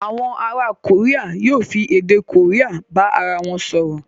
Àwọn ará Korea yóò fi èdè Korea bá ara wọn sọ̀rọ̀.